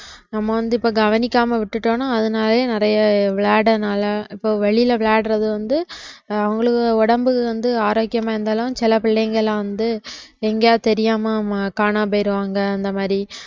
நம்ம வந்து இப்ப கவனிக்காம விட்டுட்டோம்ன்னா அதனாலயே நிறைய விளையாடுறதுனால இப்ப வெளியில விளையாடுறது வந்து அவங்களுக்கு உடம்பு வந்து ஆரோக்கியமா இருந்தாலும் சில பிள்ளைங்களை வந்து எங்கேயாவது தெரியாம காணாம போயிடுவாங்க அந்த மாதிரி